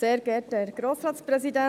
Wenn wir dies lesen, gibt